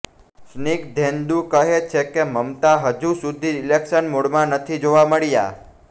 સ્નિગધેન્દુ કહે છે કે મમતા હજુ સુધી ઈલેક્શન મોડમાં નથી જોવા મળ્યાં